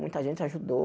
Muita gente ajudou.